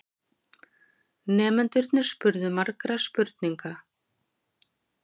Nemendurnir spurðu margra spurninga.